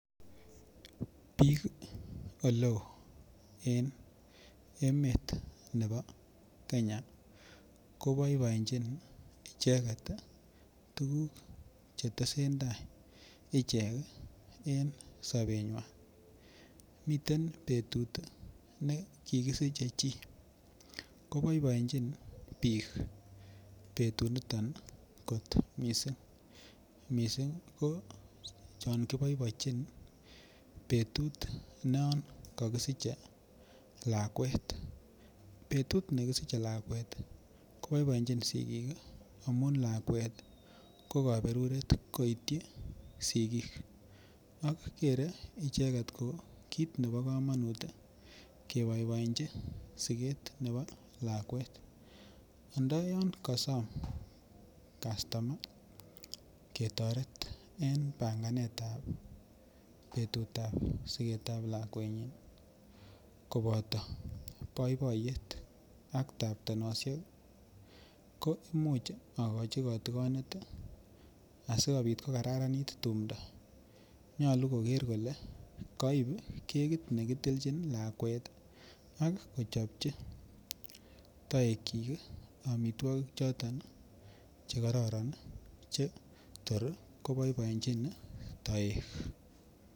Bik ole oo en emet nebo Kenya ko boiboenjin icheget ii tuguk che tesentai ichek ii en sobenywan. Miten betut ii ne kikisiche chi ko boiboenjin biik betut niton ko missing, missing ko chon kiboiboejin betut non kokisiche lakwet. Betut be kisiche lakwet ii ko boiboenjin sigik ii amun lakwet ii ko koberuret koityi sigik ak geree icheget ko kit nebo komonut keboiboechi siget nebo lakwet anda yon kosom customa ketoret en panganetab betutab sigetab lakwenyin ii Koboto boiboiyet ak taptenoshek ko imuch ogochi kotikonet ii asikopit ko kararanit tumdo nyoluuu koger kole koib kekit ne kitilchin lakwet ii ak kochopji toekyik ii omitwokik choton che kororon ii che Tor ko boiboenjin toek